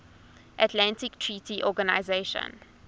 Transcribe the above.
atlantic treaty organization